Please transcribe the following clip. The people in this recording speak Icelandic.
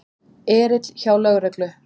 Erill hjá lögreglu